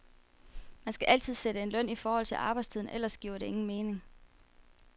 Man skal altid sætte en løn i forhold til arbejdstiden ellers giver det ingen mening.